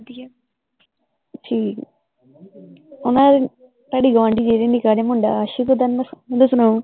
ਠੀਕ ਹੈ, ਓਹਨਾ ਦੇ ਤੁਹਾਡੇ ਗਵਾਂਢੀ ਜਿਹੜੇ ਨੇ ਕਹਿ ਰਹੇ ਮੁੰਡਾ , ਓਹਦਾ ਸੁਣਾਓ